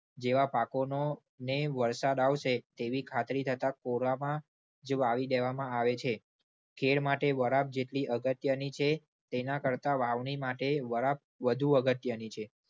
જેવા પાકોનોને વરસાદ આવશે તેવી ખાતરી થતા કોરામાં જ વાવી દેવામાં આવે છે. કેળ માટે વરાપ જેટલી અગત્યની છે તેના કરતા વાવણી માટે વરાપ વધુ અગત્યની છે.